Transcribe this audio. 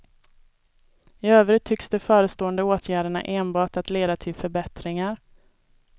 I övrigt tycks de förestående åtgärderna enbart att leda till förbättringar.